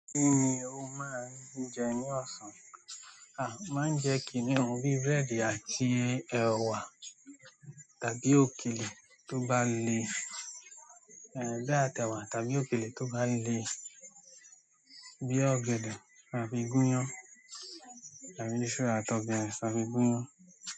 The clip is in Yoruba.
Kí ni o máa ń jẹ ní ọ̀sán? A máa ń jẹ kìíní ohun bí búrẹ́dì àti ẹ̀wà tàbí òkèlè tó bá le, gé àtẹwà tàbí òkèlè tó bá le bí ọ̀gẹ̀dẹ̀ àfi gúnyán tàbí iṣu àti ọ̀gẹ̀dẹ̀ àfi gúnyán.